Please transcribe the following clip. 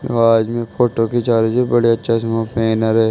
आवाज में फोटो खींचा रहे जी बड़े चश्मे पहैने रहे--